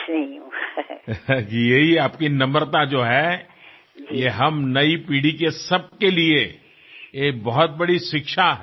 જી આજ તો આપની નમ્રતા છે તે આપણી નવી પેઢીના બધા માટે તે બહુ મોટું શિક્ષણ છે